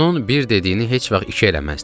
Onun bir dediyini heç vaxt iki eləməzdim.